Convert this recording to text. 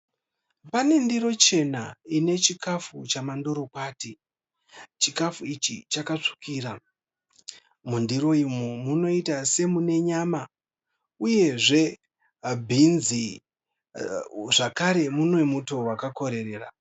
Pane ndiro chena ine chikafu chemandorokwati. Chikafu ichi chakatsvukira. Mundiro umu munoita semune nyama uyezve bhinzi zvakare mune muto wakakorerera.